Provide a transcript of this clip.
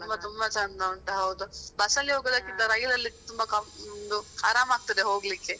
ತುಂಬ ತುಂಬ ಚಂದ ಉಂಟು ಹೌದು bus ಅಲ್ಲಿ ಹೋಗುದಕಿಂತ rail ಅಲ್ಲಿ ತುಂಬ ಆರಾಮ ಆಗ್ತಾದೆ ಹೋಗ್ಲಿಕ್ಕೆ.